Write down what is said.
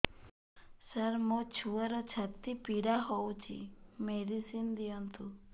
ସାର ମୋର ଛୁଆର ଛାତି ପୀଡା ହଉଚି ମେଡିସିନ ଦିଅନ୍ତୁ